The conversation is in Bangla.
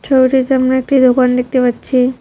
ছবিটিতে আমরা একটি দোকান দেখতে পাচ্ছি।